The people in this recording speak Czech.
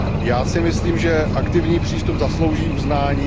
Já si myslím, že aktivní přístup zaslouží uznání.